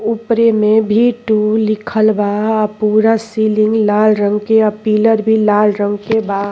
ऊपरे में भी टू लिखल बा। आ पूरा सीलिंग लाल रंग के आ पिलर भी लाल रंग के बा।